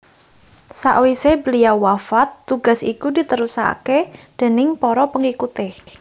Sawisé beliau wafat tugas iku diterusaké déning para pengikuté